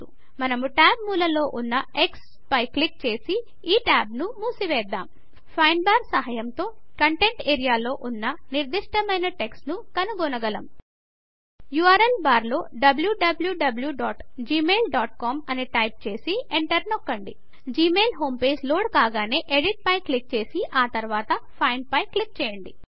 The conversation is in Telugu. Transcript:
మనము టాబ్ మూలలో ఉన్న x పై క్లిక్ చేసి ఈ టాబ్ ను మూసివేద్దాం మనం ఫైండ్ బార్ సహాయముతో కంటెంట్స్ ఏరియాలో ఉన్న నిర్దిష్టమైన టెక్స్ట్ ను కనుగొనగలం ఉర్ల్ బార్లో wwwgmailcom అని టైపు చేసి ఎంటర్ నొక్కండి జిమెయిల్ హోమ్ పేజ్ లోడ్ కాగానే ఎడిట్ పై క్లిక్ చేసి ఆ తర్వాత ఫైండ్ పై న క్లిక్ చేయండి